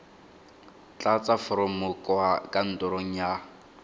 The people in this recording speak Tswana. tlatsa foromo kwa kantorong ya